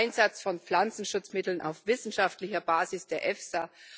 der Einsatz von Pflanzenschutzmitteln auf wissenschaftlicher Basis der EFSA.